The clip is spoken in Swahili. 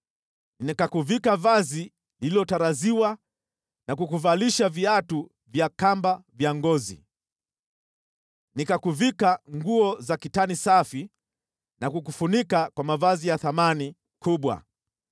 Nikakuvika vazi lililotariziwa na kukuvalisha viatu vya kamba vya ngozi. Nikakuvika nguo za kitani safi na kukufunika kwa mavazi ya thamani kubwa.